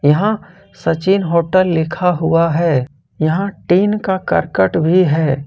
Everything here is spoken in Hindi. यहां सचिन होटल लिखा हुआ है यहां टीन का करकट भी है।